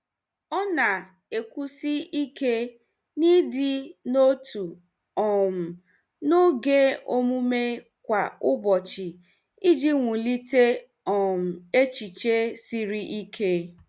Ọ na-ekwusi ike n'ịdị n'otu um n'oge omume kwa ụbọchị iji wulite um echiche siri ike.